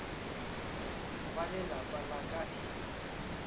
ba lelapa la ka e